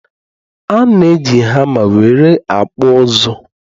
ana eji hama nwere akpu uzu